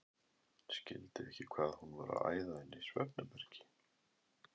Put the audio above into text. Skildi ekki hvað hún var að æða inn í svefnherbergi.